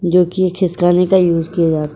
जोकि खिसकाने का यूस किया जाता --